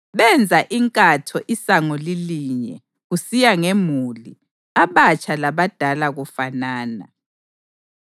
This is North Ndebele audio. Benza inkatho isango lilinye, kusiya ngemuli, abatsha labadala kufanana.